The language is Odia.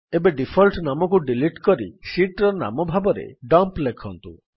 ଏବେ ଡିଫଲ୍ଟ ନାମକୁ ଡିଲିଟ୍ କରି ଶୀଟ୍ ର ନାମ ଭାବରେ ଡମ୍ପ ଲେଖନ୍ତୁ